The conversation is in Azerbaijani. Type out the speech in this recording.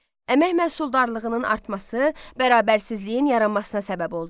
Əmək məhsuldarlığının artması bərabərsizliyin yaranmasına səbəb oldu.